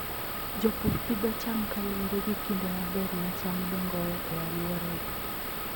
Jopur pidho cham kaluwore gi kinde maber ma cham dongoe e alworagi.